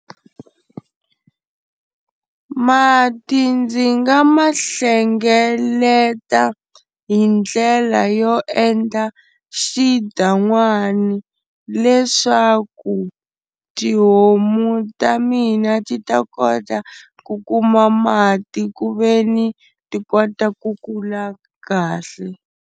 Mati ndzi nga ma hlengeleta hi ndlela yo endla xidan'wani leswaku tihomu ta mina ti ta kota ku kuma mati ku veni ti kota ku kula kahle.